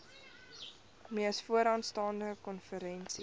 mees vooraanstaande konferensie